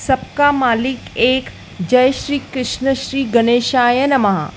सबका मालिक एक जय श्री कृष्ण श्री गणेशाय नमः--